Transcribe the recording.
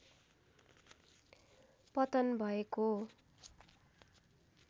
पतन भएको